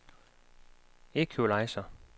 equalizer